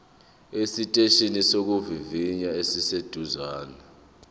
esiteshini sokuvivinya esiseduze